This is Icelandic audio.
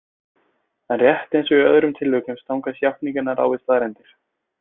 En rétt eins og í öðrum tilvikum stangast játningarnar á við staðreyndir.